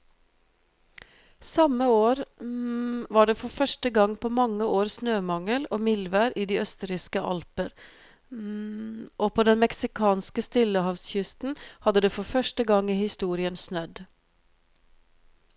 Samme år var det for første gang på mange år snømangel og mildvær i de østerrikske alper og på den meksikanske stillehavskysten hadde det for første gang i historien snødd.